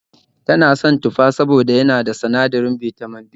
Ta na son tufa saboda yana cike da sinadirin Bitamin B